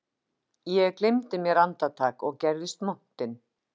Ég gleymdi mér andartak og gerðist montinn